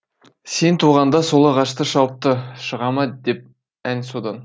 сен туғанда сол ағашты шауыпты шыға ма деп ән содан